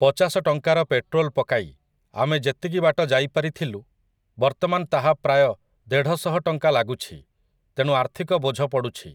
ପଚାଶ ଟଙ୍କାର ପେଟ୍ରୋଲ୍ ପକାଇ ଆମେ ଯେତିକି ବାଟ ଯାଇପାରିଥିଲୁ ବର୍ତ୍ତମାନ ତାହା ପ୍ରାୟ ଦେଢ଼ଶହ ଟଙ୍କା ଲାଗୁଛି, ତେଣୁ ଆର୍ଥିକ ବୋଝ ପଡ଼ୁଛି ।